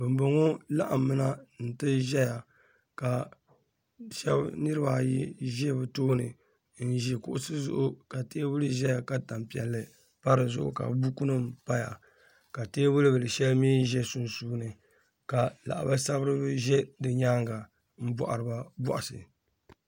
Ban bɔŋɔ laɣim mi na n-ti ʒiya ka niriba ayi za bɛ tooni n-ʒi kuɣisi zuɣu ka teebuli zaya ka tan' piɛlli pa di zuɣu ka bukunima paya ka teebul' bila shɛli mi za sunsuuni ka lahibali sabiri a mi zaya m-bɔhiri ba bɔhisi